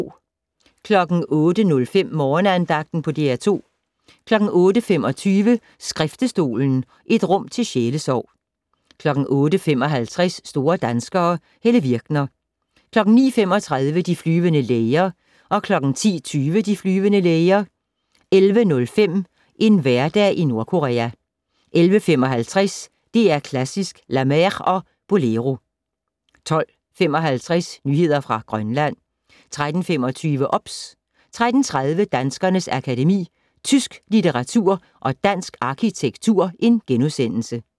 08:05: Morgenandagten på DR2 08:25: Skriftestolen - et rum til sjælesorg 08:55: Store danskere - Helle Virkner 09:35: De flyvende læger 10:20: De flyvende læger 11:05: En hverdag i Nordkorea 11:55: DR Klassisk: "La Mer" og "Bolero" 12:55: Nyheder fra Grønland 13:25: OBS 13:30: Danskernes Akademi: Tysk litteratur & Dansk arkitektur *